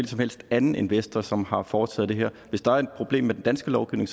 som helst anden investor som har foretaget det her hvis der er et problem med den danske lovgivning